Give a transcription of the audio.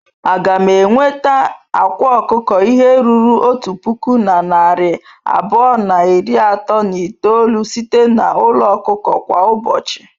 A ga m enweta akwa ọkụkọ ihe ruru otu puku na narị abụọ na iri atọ na itoolu site na n'ụlọ ọkụkọ kwa ụbọchị?